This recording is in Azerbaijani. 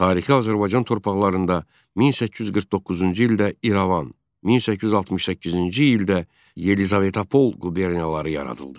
Tarixi Azərbaycan torpaqlarında 1849-cu ildə İrəvan, 1868-ci ildə Yelizavetapol quberniyaları yaradıldı.